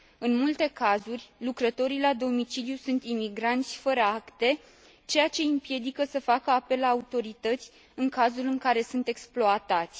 În multe cazuri, lucrătorii la domiciliu sunt imigranți fără acte, ceea ce i împiedică să facă apel la autorități în cazul în care sunt exploatați.